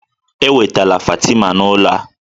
Ewetala Fatima n'ụlọ a